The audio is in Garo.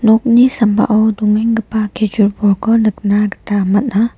nokni sambao dongenggipa kejur bolko nikna gita man·a.